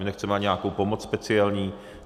My nechceme ani nějakou pomoc speciální.